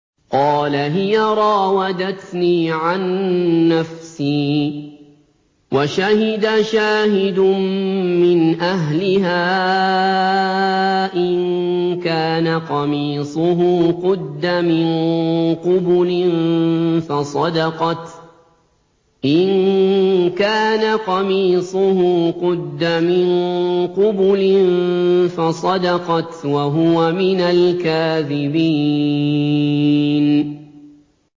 قَالَ هِيَ رَاوَدَتْنِي عَن نَّفْسِي ۚ وَشَهِدَ شَاهِدٌ مِّنْ أَهْلِهَا إِن كَانَ قَمِيصُهُ قُدَّ مِن قُبُلٍ فَصَدَقَتْ وَهُوَ مِنَ الْكَاذِبِينَ